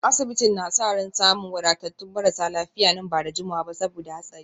Asibitin na sa ran samun wadatattun marasa lafiya nan ba da jimawa ba saboda hatsarin